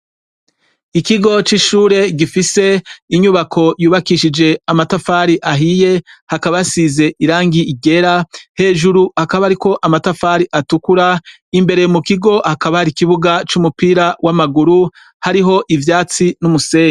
Ikigo c'ishure gifise inyubako yubakishije amatafari ahiye hakaba hasize irangi ryera, hejuru hakaba hariko amatafari atukura, imbere mu kigo hakaba hari ikibuga c'umupira w'amaguru hariho ivyatsi n'umusenyi.